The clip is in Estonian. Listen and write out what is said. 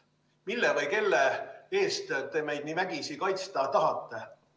Mille või kelle eest te meid vägisi kaitsta tahate?